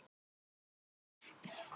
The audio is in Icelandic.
Systa, lækkaðu í hátalaranum.